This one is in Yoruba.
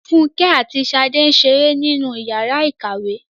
Fúnkẹ́ àti Ṣadé ń ṣeré nínú ìyàrá-ìkàwé.